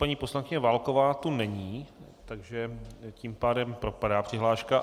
Paní poslankyně Válková tu není, takže tím pádem propadá přihláška.